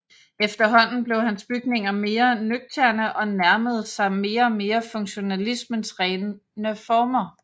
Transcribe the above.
Efterhånden blev hans bygninger mere nøgterne og nærmerede sig mere og mere funktionalismens rene former